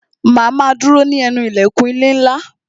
Ma a ma dúró ní ẹnu ilẹ̀kùn ilé ńlá